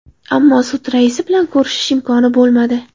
Ammo sud raisi bilan ko‘rishish imkoni bo‘lmadi.